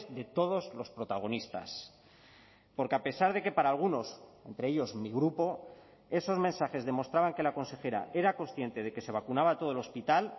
de todos los protagonistas porque a pesar de que para algunos entre ellos mi grupo esos mensajes demostraban que la consejera era consciente de que se vacunaba a todo el hospital